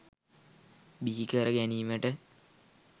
බිහි කර ගැනීමට